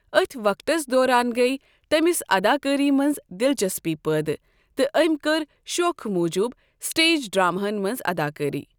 أتھۍ وقتس دوران گٔیۍ تٔمِس اَداکٲری منٛز دِلچسپی پٲدٕ تہٕ أمۍ کٔر شوخہٕ موٗجوٗب سٹیج ڈرٛامہن منٛز اَداکٲری۔